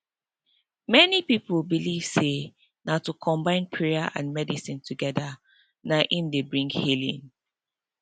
many people believe say na to combine prayer and medicine together na im dey bring healing